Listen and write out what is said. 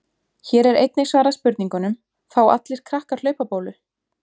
Hér er einnig svarað spurningunum: Fá allir krakkar hlaupabólu?